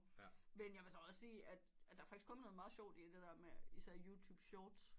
Men jeg vil så også sige der er kommet noget meget sjovt i det der med især Youtube shorts